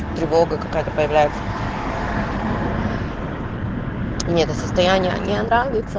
тревога какая-то появляется не это состояние нравится